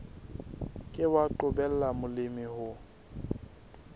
ke wa qobella molemi ho